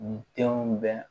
Nin denw bɛɛ